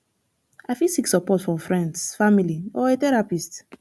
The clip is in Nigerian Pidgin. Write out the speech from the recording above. i fit seek support from freinds family or a therapist